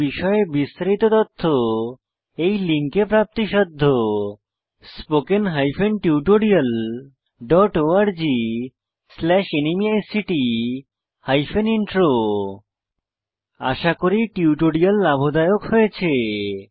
এই বিষয়ে বিস্তারিত তথ্য এই লিঙ্কে প্রাপ্তিসাধ্য spoken hyphen tutorial dot org slash ন্মেইক্ট হাইফেন ইন্ট্রো আশা করি টিউটোরিয়াল লাভদায়ক হয়েছে